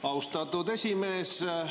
Austatud esimees!